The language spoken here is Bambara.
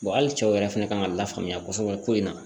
hali cɛw yɛrɛ fɛnɛ kan ka lafaamuya kosɛbɛ ko in na